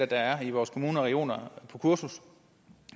der er i vores kommuner og regioner på kursus